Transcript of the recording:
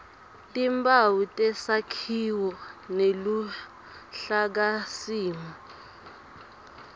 timphawu tesakhiwo neluhlakasimo